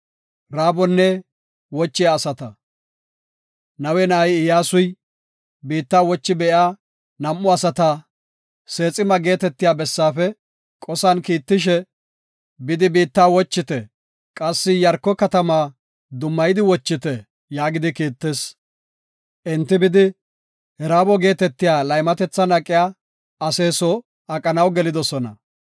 Nawe na7ay Iyyasuy, biitta wochi be7iya nam7u asata Seexima geetetiya bessaafe qosan kiittishe, “Bidi biitta wochite; qassi Iyaarko katama dummayidi wochite” yaagidi kiittis. Enti bidi, Raabo geetetiya laymatethan aqiya ase soo aqanaw gelidosona.